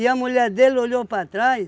a mulher dele olhou para trás,